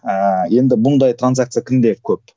ііі енді бұндай транзакция кімде көп